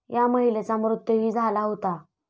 या महिलेचा मृत्यूही झाला होता.